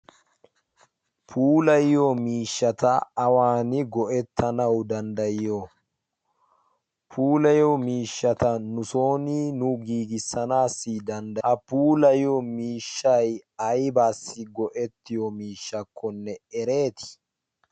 pulayiyo miishshata awaani go7ettanawu danddayiyo? pulayiyo miishshata nu sooni nu giigissanaassi danddayiyo? Ha puulayiyo miishshay aybbaassi go7ettiyo miishshakkonne ereetii?